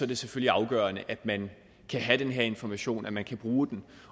det selvfølgelig afgørende at man kan have den her information at man kan bruge den